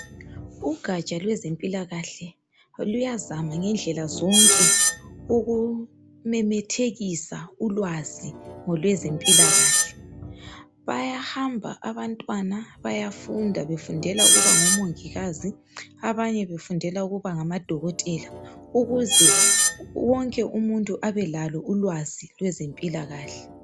Ugaja lwezempilakahle luyazama ngendlela zonke ukumemethekisa ulwazi ngolwezempilakahle, bayahamba abantwana bayafunda befundela ukuba ngomongikazi abanye befundela ukuba ngama dokotela ukuze wonke umuntu abelalo ulwazi lwezempilakahle.